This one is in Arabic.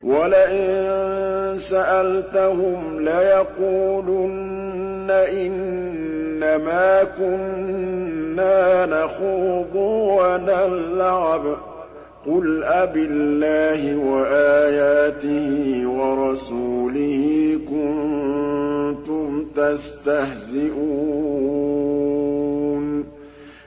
وَلَئِن سَأَلْتَهُمْ لَيَقُولُنَّ إِنَّمَا كُنَّا نَخُوضُ وَنَلْعَبُ ۚ قُلْ أَبِاللَّهِ وَآيَاتِهِ وَرَسُولِهِ كُنتُمْ تَسْتَهْزِئُونَ